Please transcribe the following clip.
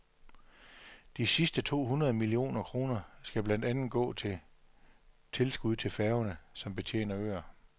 De sidste to hundrede millioner kroner skal blandt andet gå til tilskud til færger, som betjener øer.